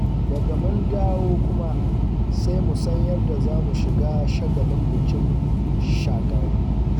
Daga mun dawo kuma, sai mu san yadda za mu shiga shagalin bikin Shagari.